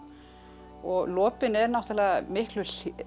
og lopinn er náttúrulega miklu